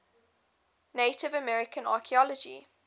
native american archeology